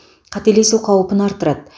қателесу қаупін арттырады